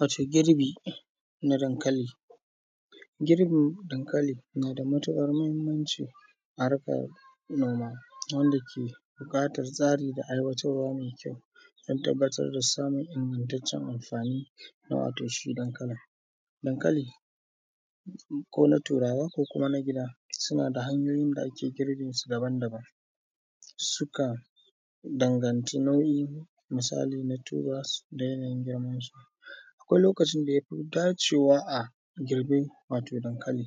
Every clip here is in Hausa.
Wace girbi na dankali, girbin dankali na da matuƙar muhimanci a harkan noma. Wanda yake buƙatar tsari da aiwatarwa mai kyau, dan tabbatar da samun ingantatccen amfani na wato shi dankalin. Dankali ko turawa ko na gida suna da hanyoyin da ake girbe daban-daban. Sukan danganci nauyi. misali na turawa da yanayin girman su. Akwai lokacin da ya fi dacewa a girbi wato dankali.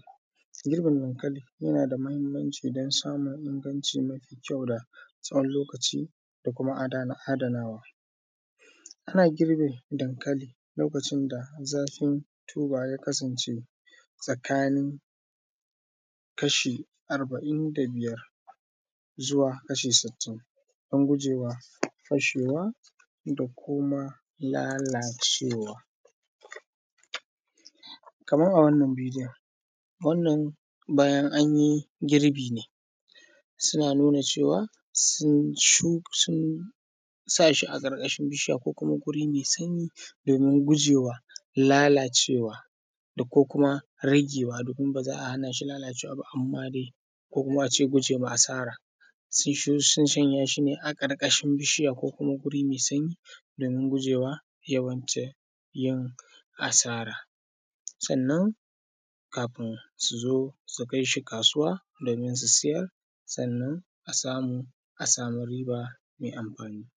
Girbin dankali yana da muhimmanci dan samun inganci mafi kyau da tsawon lokaci da kuma ada adanawa. Ana girbe dankali lokacin da zafin tuba ya kasance, tsakanin kasha arba’in da biyar zuwa kasha sittin, dan guwa fashewa kuma lalacewa. Kaman a wannan bidiyon, wannan bayan an yi girbi ne. suna nuna ceawa sun shu sun sa shi a ƙarƙashin bishiya ko kuma wuri mai sanyi. Domin gujewa lalacewa, ko kuma ragewa domin ba za a hana shi lalacewa amma dai ko kuma a ce gujewa asara. Sun shanya shi a ƙarƙashin bishiya ko kuma guri mai sanyi domin gujewa yawan ce yin, asara. Sannan kafin su zo su kais hi kasuwa domin su siyar siyar sannan a sayar a sami riba mai amfani.